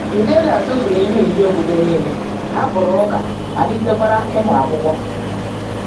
Fidélia tụfuru ihe oyiyi okpukpe niile, hapụrụ ụka, malitekwara ịmụ Akwụkwọ.